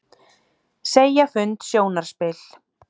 Segja fund sjónarspil